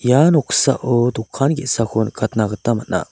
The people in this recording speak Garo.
ia noksao dokan ge·sako nikatna gita man·a.